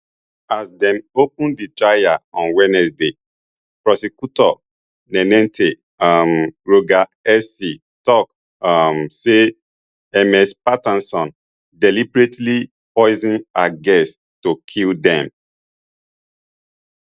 as dem open di trial on wednesday prosecutor nanette um rogers sc tok um say ms patterson deliberately poison her guests to kill dem